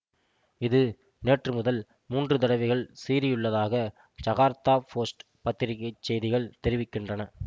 இது நேற்று முதல் மூன்று தடவைகள் சீறியுள்ளதாக ஜகார்த்தா போஸ்ட் பத்திரிகைச் செய்திகள் தெரிவிக்கின்றன